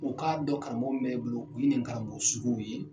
O k'a dɔn karamɔgɔ min bɛ i bolo u ye nin karamɔgɔ suguw ye.